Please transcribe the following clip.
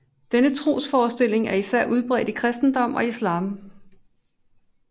Denne trosforestilling er især udbredt i kristendom og islam